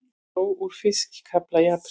Dró úr fiskafla í apríl